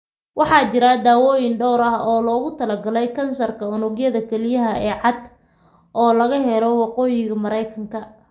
Waxaa jira daawayn dhowr ah oo loogu talagalay kansarka unugyada kelyaha ee cad ee metastatic oo laga heli karo Waqooyiga mereeykanka